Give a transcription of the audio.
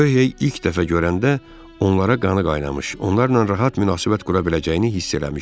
Röh hey ilk dəfə görəndə onlara qanı qaynamış, onlarla rahat münasibət qura biləcəyini hiss eləmişdi.